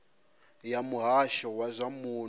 ya muhasho wa zwa muno